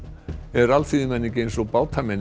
er alþýðumenning eins og